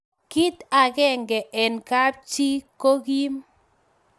kit akenge eng' kap chii ko gim